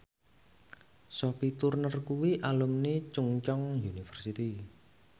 Sophie Turner kuwi alumni Chungceong University